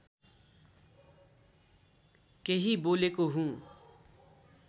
केही बोलेको हुँ